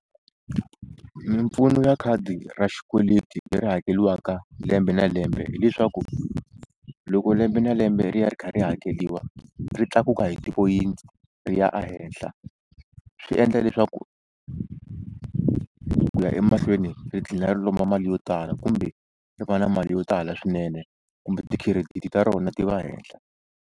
Mimpfuno ya khadi ra xikweleti leri hakeriwaka lembe na lembe hileswaku loko lembe na lembe ri ya ri kha ri hakeriwa ri tlakuka hi tipoyinti ri ya a henhla swi endla leswaku kuya emahlweni ri tlhela ri lomba mali yo tala kumbe ri va na mali yo tala swinene kumbe ti-credit ta rona ti va hehla.